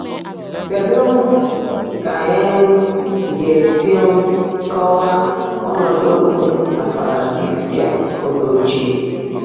Kedu ka anyị ga-esi kọwaa ọnọdụ okpukpe na Filadelfia oge ochie?